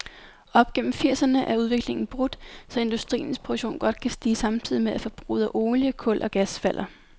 Op gennem firserne er udviklingen brudt, så industriens produktion godt kan stige samtidig med, at forbruget af olie, kul og gas falder.